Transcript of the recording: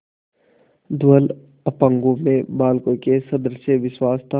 धवल अपांगों में बालकों के सदृश विश्वास था